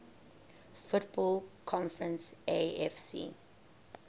football conference afc